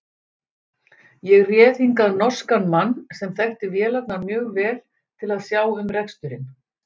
Ég réð hingað norskan mann, sem þekkti vélarnar mjög vel, til að sjá um reksturinn.